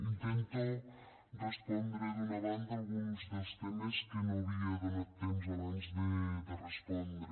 intento respondre d’una banda alguns dels temes que no havia donat temps abans de respondre